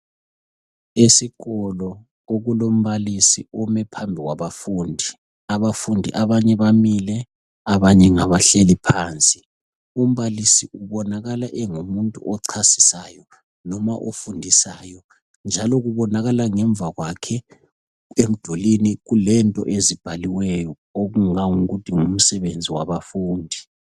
Esikolo kulombalisi omephambi kwabafundi abafundi abanye bamile abanye ngabahleli phansi umbalisi ubonakala engumuntu ochasisayo loba ofundisayo njalo kubonakala ngemva kwakhe emdulwini kulento ezibhaliweyo okungango kuthi ngumsebenzi wabafundi